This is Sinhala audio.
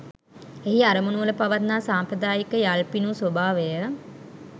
එහි අරමුණුවල පවත්නා සාම්ප්‍රදායික යල්පිනූ ස්වභාවය